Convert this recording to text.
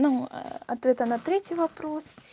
ну ответы на третий вопрос